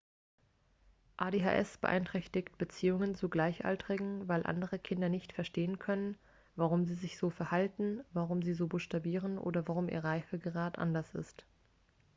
adhs beeinträchtigt beziehungen zu gleichaltrigen weil andere kinder nicht verstehen können warum sie sich so verhalten warum sie so buchstabieren oder warum ihr reifegrad anders ist